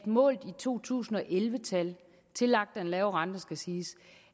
målt i to tusind og elleve tal tillagt den lave rente det skal siges